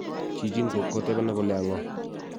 chichin ko kotebena kole aa ng'o